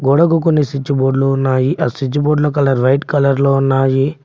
గోడకి కొన్ని సిచ్ బోర్డ్లు ఉన్నాయి ఆ స్విచ్ బోర్డ్ల కలర్ వైట్ కలర్ లో ఉన్నాయి.